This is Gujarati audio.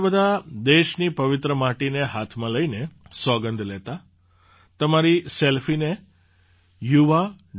તમે બધાં દેશની પવિત્ર માટીને હાથમાં લઈને સોગંદ લેતા તમારી સેલ્ફીને yuva